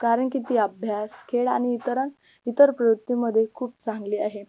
कारण की ती अभ्यास, खेळ आणि इतर इतर प्रयुक्ती मध्ये खूप चांगली आहे